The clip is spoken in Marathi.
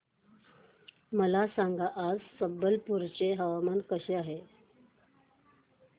मला सांगा आज संबलपुर चे हवामान कसे आहे